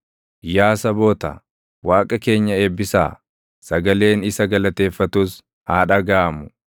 Yaa saboota, Waaqa keenya eebbisaa; sagaleen isa galateeffatus haa dhagaʼamu;